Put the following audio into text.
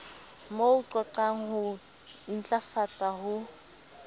mo qhoqhang ho intlafatsa ho